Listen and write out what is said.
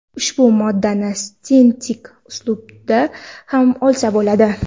Ushbu moddani sintetik usulda ham olsa bo‘ladi.